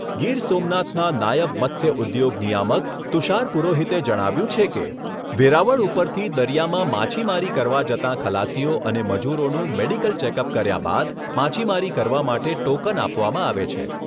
ગીર સોમનાથના નાયબ મત્સ્ય ઉદ્યોગ નિયામક તુષાર પુરોહિતે જણાવ્યુંં છે કે, વેરાવળ ઉપરથી દરિયામાં માછીમારી કરવા જતાં ખલાસીઓ અને મજૂરોનું મેડીકલ ચેકઅપ કર્યા બાદ માછીમારી કરવા માટે ટોકન આપવામાં આવે છે.